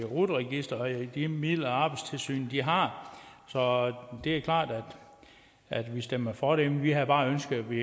rut registeret og de midler arbejdstilsynet har så det er klart at vi stemmer for dem vi havde bare ønsket at vi